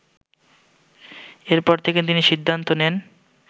এরপর থেকেই তিনি সিদ্ধান্ত নেন